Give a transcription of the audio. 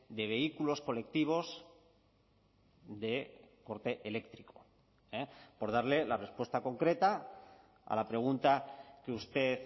de vehículos colectivos de corte eléctrico por darle la respuesta concreta a la pregunta que usted